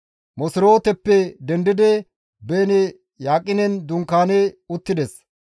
Moserooteppe dendidi Beeni Yaqinen dunkaani uttides.